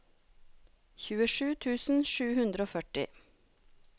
tjuesju tusen sju hundre og førti